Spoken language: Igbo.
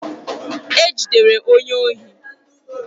E jidere onye ohi